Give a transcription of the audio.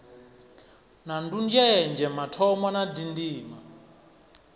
na ndunzhenzhe mathomo na dzindima